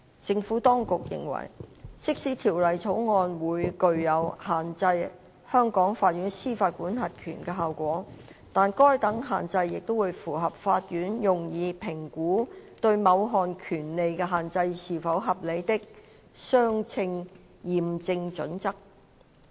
政府當局認為，即使《條例草案》會具有限制香港法院司法管轄權的效果，但該等限制也會符合法院用以評估對某項權利的限制是否合理的"相稱驗證準則"。